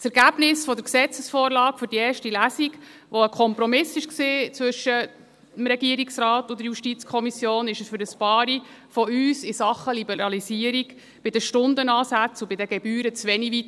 Das Ergebnis der Gesetzesvorlage für die erste Lesung, das ein Kompromiss zwischen Regierungsrat und der JuKo war, ging für einige von uns in Sachen Liberalisierung bei den Stundenansätzen und den Gebühren zu wenig weit.